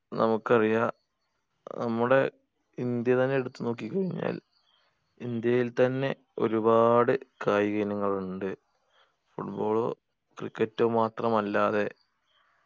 നമുക്കറിയാ നമ്മുടെ ഇന്ത്യ തന്നെ എടുത്ത് നോക്കി കഴിഞ്ഞാൽ ഇന്ത്യയിൽ തന്നെ ഒരുപാട് കായിക ഇനങ്ങളുണ്ട് football cricket മാത്രമല്ലാതെ